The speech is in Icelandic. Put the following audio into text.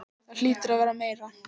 Það hlýtur að vera meira.